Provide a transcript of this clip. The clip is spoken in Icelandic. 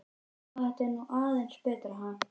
Já, þetta var nú aðeins betra, ha!